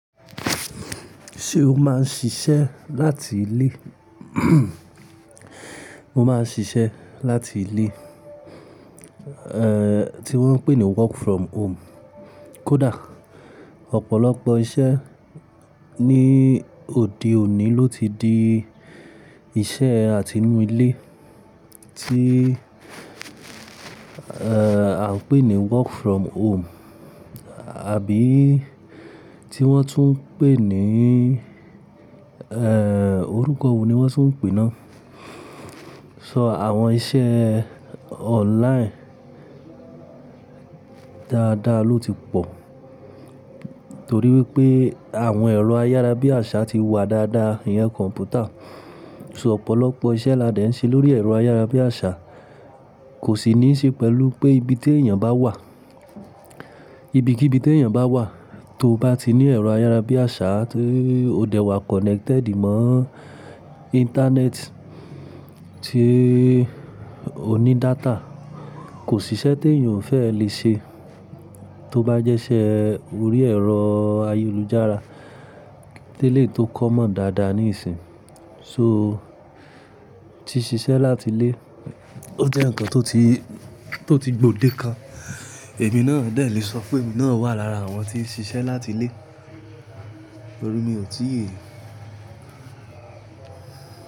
Ṣé o máa ń ṣiṣẹ́ láti ilé? Mo máa ń ṣiṣẹ́ láti ilé, tí wọ́n ń pè ní work from home. Kódà ọ̀pọ̀lọpọ̀ iṣẹ́ ní òde òní ló ti di iṣẹ́ àtinú ilé tí à ń pè ní work from home, àbí tí wọ́n tún ń pè ní orúkọ wo ni wọ́n tún ń pè ná. So àwọn iṣẹ́ online dáadáa ló ti pọ̀ torí wípé àwọn ẹ̀rọ ayára bí àṣá ti wà dáadáa, ìyen kọ̀ǹpútà. So ọ̀pọ̀lọpọ̀ iṣẹ́ là dẹ̀ ń ṣe lórí ẹ̀rọ ayára bí àṣá kò sì ní í ṣe pẹ̀lú pé ibi tí èèyàn bá wà. Ibi kí ibi tí èèyàn bá wà tó bá ti ní ẹ̀rọ ayára bí àṣá tó o dẹ̀ wà connected mọ́ internet tí ó ní data, kò sì iṣẹ́ tí èèyàn ò fẹ́ lè ṣe tó bá jẹ́ iṣẹ́ orí ẹ̀rọ ayélujára tí lèyi tó kọ́ mọ́ dáadáa níìsín. So tí ṣiṣẹ́ láti ilé ó jẹ́ ǹkan tó ti, tó ti gbòde kan, èmi náà dẹ̀ lè sọ pé èmi náà wà lára àwọn tí ń ṣiṣẹ́ láti ilé torí mi ò tí ì.